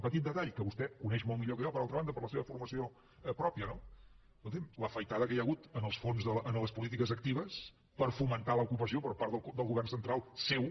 petit detall que vostè coneix molt millor que jo per altra banda per la seva formació pròpia no escolti’m l’afaitada que hi ha hagut en les polítiques actives per fomentar l’ocupació per part del govern central seu